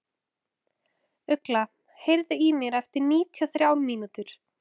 Ugla, heyrðu í mér eftir níutíu og þrjár mínútur.